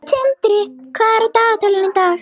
Tindri, hvað er á dagatalinu í dag?